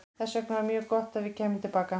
Þess vegna var mjög gott að við kæmum til baka.